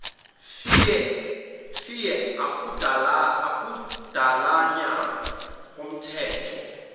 fear akudalanyana anomthetho